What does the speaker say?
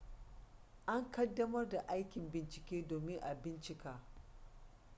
an ƙaddamar da aikin bincike domin a bincika